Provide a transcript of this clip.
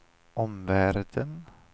omvärlden